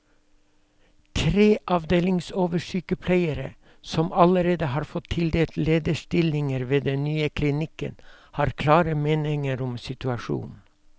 Tre avdelingsoversykepleiere, som allerede har fått tildelt lederstillinger ved den nye klinikken, har klare meninger om situasjonen.